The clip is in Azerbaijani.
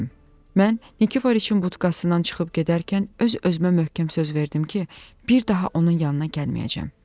Mən Nikiforiçin budkasından çıxıb gedərkən öz-özümə möhkəm söz verdim ki, bir daha onun yanına gəlməyəcəm.